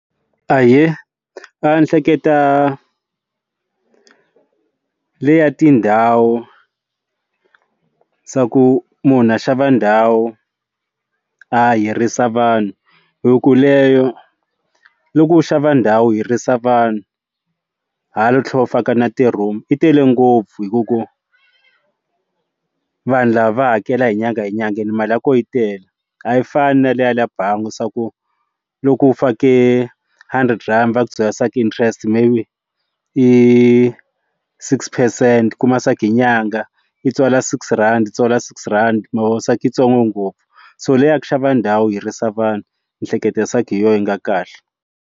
Ahee ndzi hleketa leya tindhawu xa ku munhu a xava ndhawu a hirisa vanhu hi ku leyo loko u xava ndhawu hirisa vanhu hala tlhelo u faka na ti-room yi tele ngopfu hi ku ku vanhu lava va hakela hi nyanga hi nyangha mali ya kona yi tele a yi fani na le ya le bangi swa ku loku u fake hundred rand va ku byela swa ku interest maybe i six percent ku mask nyanga yi tswala six rand tswala six rand se hi yitsongo ngopfu so leyi a ku xava ndhawu hirisa vanhu ndzi hleketa research hi yona yi nga kahle.